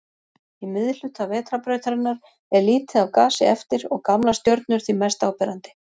Í miðhluta Vetrarbrautarinnar er lítið af gasi eftir og gamlar stjörnur því mest áberandi.